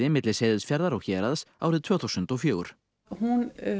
milli Seyðisfjarðar og Héraðs árið tvö þúsund og fjögur hún